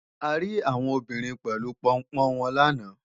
A rí àwọn obìnrin pẹ̀lú Pọnpọ́n wọn làná